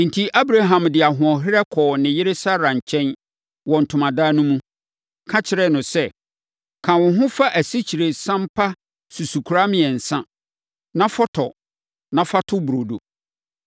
Enti, Abraham de ahoɔherɛ kɔɔ ne yere Sara nkyɛn wɔ ntomadan no mu, ka kyerɛɛ no sɛ, “Ka wo ho fa asikyiresiam pa susukora mmiɛnsa, na fɔtɔ na fa to burodo.”